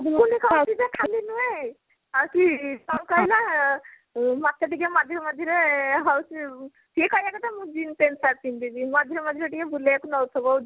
ଟୁକୁନି କହୁଛି ଯେ ଖାଲି ନୁହେଁ ହଉଛି କଣ କହିଲ ମତେ ଟିକେ ମଝିରେ ମଝିରେ ହଉଛି ସିଏ କହିବା କଥା ମୁଁ jeans pant shirt ପିନ୍ଧିବି ମଝିରେ ମଝିରେ ଟିକେ ବୁଲେଇବାକୁ ନଉଥିବ